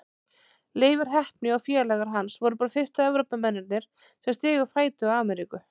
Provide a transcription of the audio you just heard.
Leifur heppni og félagar hans voru bara fyrstu Evrópumennirnir sem stigu fæti á Ameríku.